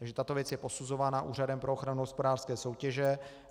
Takže tato věc je posuzována Úřadem pro ochranu hospodářské soutěže.